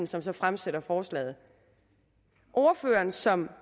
som så fremsætter forslaget ordføreren som